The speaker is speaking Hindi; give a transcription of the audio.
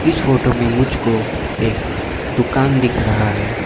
इस फोटो में मुझको एक दुकान दिख रहा है।